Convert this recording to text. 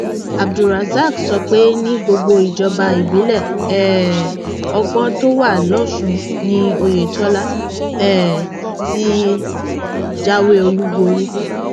abdulrasaq sọ pé ní gbogbo ìjọba ìbílẹ um ọgbọn tó wà lọsùn ni oyetola um ti jáwé olúborí